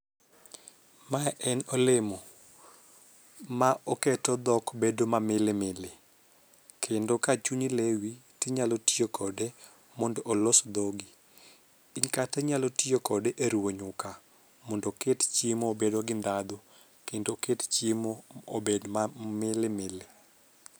Mae en olemo ma oketo dhok bedo ma milimili kendo ka chunyi lewi ti nyalo tiyo kode mondo olos dhogi kati nyalo tiyo kode e ruwo nyuka mondo oket chiemo bedo gi dhadhu kendo oket chiemo obed ma milimili